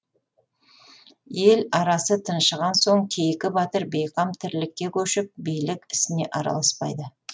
ел арасы тыншыған соң кейкі батыр бейқам тірлікке көшіп билік ісіне араласпайды